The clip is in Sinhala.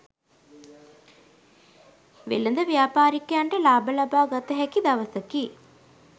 වෙළෙඳ ව්‍යාපාරිකයන්ට ලාභ ලබාගත හැකි දවසකි.